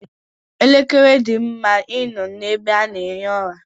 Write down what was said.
Elekere dị mma ị nọ n'ebe a na-ehi ụra.